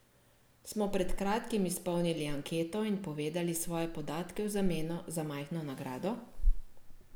Smo pred kratkim izpolnili anketo in povedali svoje podatke v zameno za majhno nagrado?